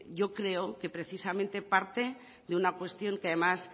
yo creo que precisamente parte de una cuestión que además